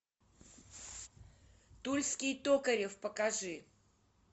тульский токарев покажи